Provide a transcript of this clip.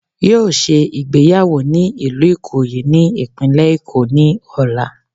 Yóò se ìgbéyàwó ni ìlú Ìkòyí ní ìpínlẹ̀ Èkó ní ọ̀la